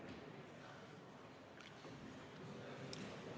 Vabariigi Valitsuse esindaja proua Heili Tõnisson, palun!